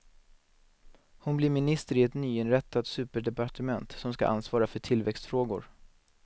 Hon blir minister i ett nyinrättat superdepartement som ska ansvara för tillväxtfrågor.